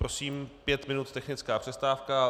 Prosím, pět minut technická přestávka.